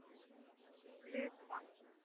Glitvangi